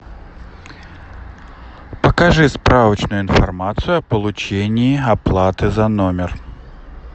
покажи справочную информацию о получении оплаты за номер